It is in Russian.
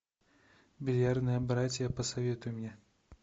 бильярдные братья посоветуй мне